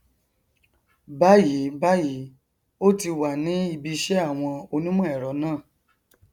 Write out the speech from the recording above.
báyìíbáyìí ó ti wà ní ibiṣẹ àwọn onímọ ẹrọ náà